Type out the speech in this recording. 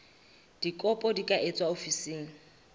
dikopo di ka etswa ofising